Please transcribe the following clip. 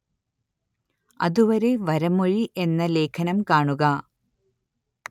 അതുവരെ വരമൊഴി എന്ന ലേഖനം കാണുക